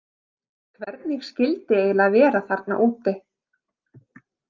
Hvernig skyldi eiginlega vera þarna úti?